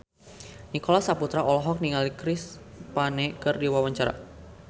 Nicholas Saputra olohok ningali Chris Pane keur diwawancara